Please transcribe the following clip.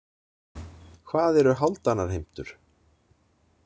Hvað eru hálfdanarheimtur?